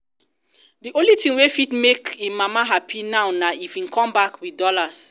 the only thing wey fit make im mama happy now na if im come back with dollars